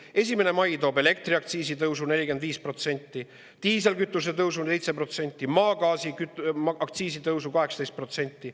1. mai toob elektriaktsiisi tõusu 45%, diislikütuse tõusu 7% ja maagaasiaktsiisi tõusu 18%.